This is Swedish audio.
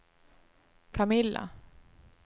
Camilla